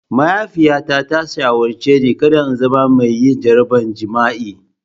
Mahaifiyata ta shawarce ni da kada in zama mai jaraban jima'i.